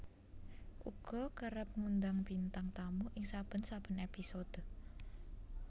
uga kerep ngundang bintang tamu ing saben saben épisode